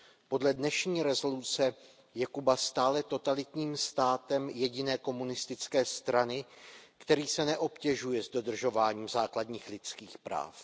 Podle dnešní rezoluce je Kuba stále totalitním státem jediné komunistické strany, který se neobtěžuje s dodržováním základních lidských práv.